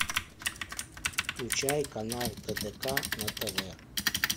включай канал тдк на тв